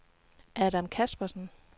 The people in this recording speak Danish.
Adam Caspersen